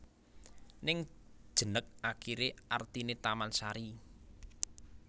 Ning jeneg akiré artiné tamansari